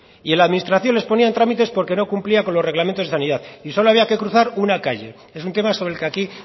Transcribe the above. y en la administración les ponía tramites porque no cumplían con los reglamentos de sanidad y solo había que cruzar una calle es un tema sobre el que aquí